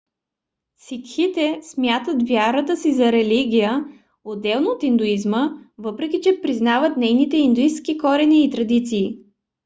сикхите смятат вярата си за религия отделно от индуизма въпреки че признават нейните индуистки корени и традиции